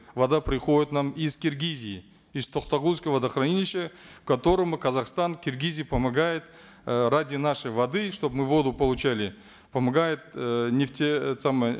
вода приходит к нам из киргизии из токтагульского водохранилища которому казахстан киргизии помогает э ради нашей воды чтобы мы воду получали помогает э нефте это самое